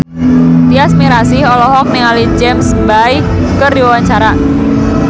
Tyas Mirasih olohok ningali James Bay keur diwawancara